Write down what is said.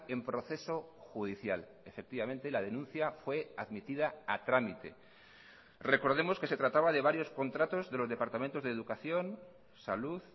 en proceso judicial efectivamente la denuncia fue admitida a trámite recordemos que se trataba de varios contratos de los departamentos de educación salud